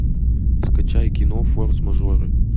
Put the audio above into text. скачай кино форс мажоры